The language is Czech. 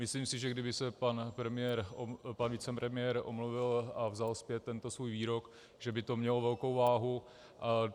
Myslím si, že kdyby se pan vicepremiér omluvil a vzal zpět tento svůj výrok, že by to mělo velkou váhu.